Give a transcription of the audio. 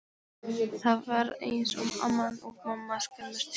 Það var eins og amman og mamman skömmuðust sín.